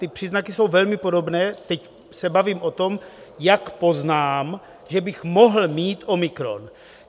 Ty příznaky jsou velmi podobné - teď se bavím o tom, jak poznám, že bych mohl mít omikron.